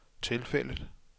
tilfældet